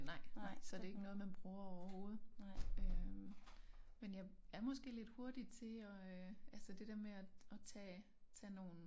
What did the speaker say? Nej nej så det ikke noget man bruger overhovedet øh men jeg er måske lidt hurtig til at øh altså det der med at at tage tage nogen